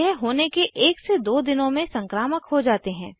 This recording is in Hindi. यह होने के 1 2 दिनों में संक्रामक हो जाते हैं